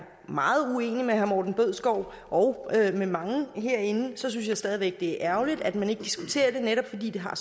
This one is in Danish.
meget uenig med herre morten bødskov og med mange herinde synes jeg stadig væk det er ærgerligt at man ikke diskuterer det netop fordi det har